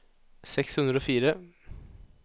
seks hundre og fire